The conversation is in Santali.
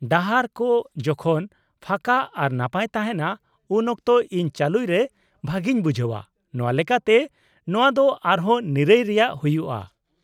-ᱰᱟᱦᱟᱨ ᱠᱚ ᱡᱚᱠᱷᱚᱱ ᱯᱷᱟᱸᱠᱟ ᱟᱨ ᱱᱟᱯᱟᱭ ᱛᱟᱦᱮᱱᱟ ᱩᱱ ᱚᱠᱛᱚ ᱤᱧ ᱪᱟᱹᱞᱩᱭ ᱨᱮ ᱵᱷᱟᱹᱜᱤᱧ ᱵᱩᱡᱷᱟᱹᱣᱟ, ᱱᱚᱶᱟ ᱞᱮᱠᱟᱛᱮ ᱱᱚᱶᱟ ᱫᱚ ᱟᱨᱦᱚᱸ ᱱᱤᱨᱟᱹᱭ ᱨᱮᱭᱟᱜ ᱦᱩᱭᱩᱜᱼᱟ ᱾